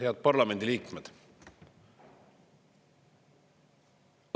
Head parlamendi liikmed!